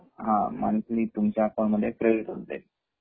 monthly तुमच्या account credit होउन जाईल